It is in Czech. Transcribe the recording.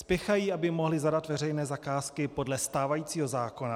Spěchají, aby mohli zadat veřejné zakázky podle stávajícího zákona.